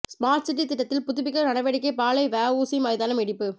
smart city திட்டத்தில் புதுப்பிக்க நடவடிக்கை பாளை வஉசி மைதானம் இடிப்பு